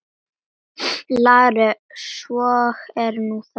LÁRUS: Svo er nú það.